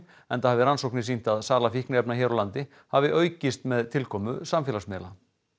enda hafi rannsóknir sýnt að sala fíkniefna hér á landi hafi aukist með tilkomu samfélagsmiðla